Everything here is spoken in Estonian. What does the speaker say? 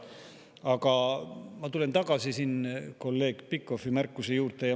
Aga ma tulen tagasi kolleeg Pikhofi märkuse juurde.